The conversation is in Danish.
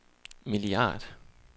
milliard